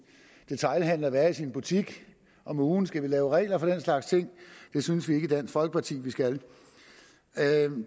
detailhandlende være i sin butik om ugen skal vi lave regler for den slags ting det synes vi ikke i dansk folkeparti vi skal